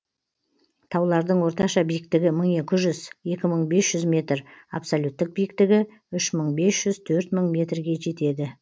таулардың орташа биіктігі мың екі жүз екі мың бес жүз абсолюттік биіктігі үш мың бес жүз төрт мың метрге жетеді